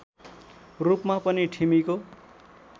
रूपमा पनि ठिमीको